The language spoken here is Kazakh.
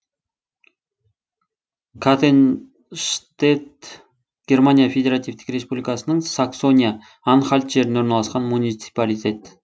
каттенштедт германия федеративтік республикасының саксония анхальт жерінде орналасқан муниципалитет